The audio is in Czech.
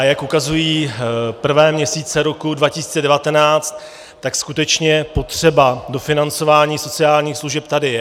A jak ukazují prvé měsíce roku 2019, tak skutečně potřeba dofinancování sociálních služeb tady je.